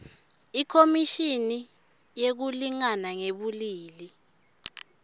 ikhomishini yekulingana ngebulili